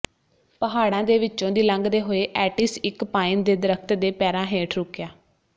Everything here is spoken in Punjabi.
ਪਹਾੜਾਂ ਦੇ ਵਿੱਚੋਂ ਦੀ ਲੰਘਦੇ ਹੋਏ ਐਟੀਸ ਇੱਕ ਪਾਈਨ ਦੇ ਦਰਖਤ ਦੇ ਪੈਰਾਂ ਹੇਠ ਰੁਕਿਆ